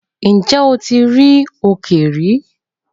Ǹjẹ́ o ti rí òkè rí?